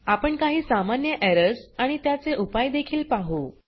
आपण काही सामान्य एरर्स आणि त्याचे उपाय देखील पाहु